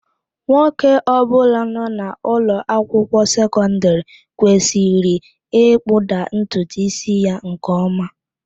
Nwoke ọbụla nọ n'ụlọ akwụkwọ sekọndịrị kwesịrị ịkpụda ntutu ísí ya nke ọma